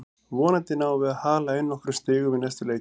Vonandi náum við að hala inn nokkrum stigum í næstu leikjum.